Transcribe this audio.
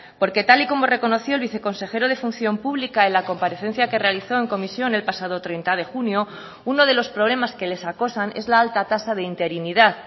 porque tal y como reconoció el viceconsejero de función pública en la comparecencia que realizó en comisión el pasado treinta de junio uno de los problemas que les acosan es la alta tasa de interinidad